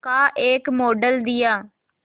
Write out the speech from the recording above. का एक मॉडल दिया